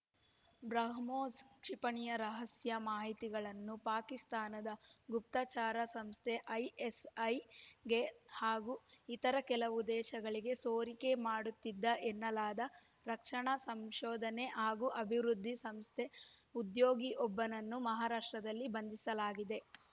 ಬ್ರಹ್ಮೋಸ್‌ ಕ್ಷಿಪಣಿಯ ರಹಸ್ಯ ಮಾಹಿತಿಗಳನ್ನು ಪಾಕಿಸ್ತಾನದ ಗುಪ್ತಚರ ಸಂಸ್ಥೆ ಐಎಸ್‌ಐಗೆ ಹಾಗೂ ಇತರ ಕೆಲವು ದೇಶಗಳಿಗೆ ಸೋರಿಕೆ ಮಾಡುತ್ತಿದ್ದ ಎನ್ನಲಾದ ರಕ್ಷಣಾ ಸಂಶೋಧನೆ ಹಾಗೂ ಅಭಿವೃದ್ಧಿ ಸಂಸ್ಥೆ ಉದ್ಯೋಗಿಯೊಬ್ಬನನ್ನು ಮಹಾರಾಷ್ಟ್ರದಲ್ಲಿ ಬಂಧಿಸಲಾಗಿದೆ